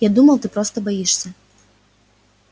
я думал ты просто боишься